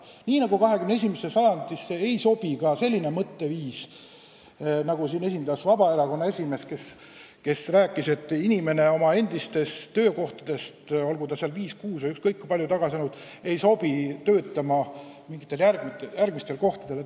Nii nagu 21. sajandisse ei sobi ka selline mõtteviis, mida siin esindab Vabaerakonna esimees, kes avaldas arvamust, et viis, kuus või ükskõik kui palju aastaid tagasi teatud ametikohal töötanud inimene ei sobi töötama mingitel järgmistel kohtadel.